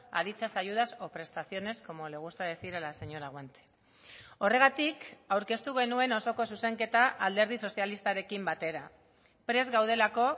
a dichas ayudas o prestaciones como le gusta decir a la señora guanche horregatik aurkeztu genuen osoko zuzenketa alderdi sozialistarekin batera prest gaudelako